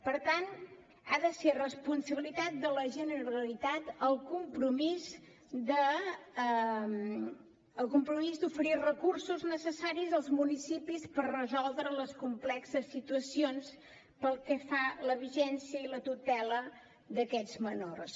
per tant ha de ser responsabilitat de la generalitat el compromís d’oferir recursos necessaris als municipis per resoldre les complexes situacions pel que fa a la vigilància i la tutela d’aquests menors